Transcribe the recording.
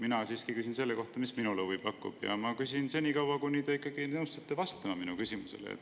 Mina siiski küsin selle kohta, mis minule huvi pakub, ja ma küsin senikaua, kuni te ikkagi nõustute vastama minu küsimusele.